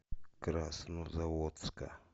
краснозаводска